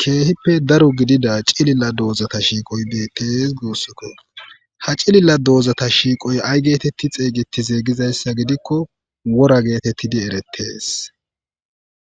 keehippe daro gidida cilila doozata shiiqoy beettees guussikko ha cilila doozata shiiqoy ay geetetti xeeygetize gizayssa gidikko wora geetettidi erettees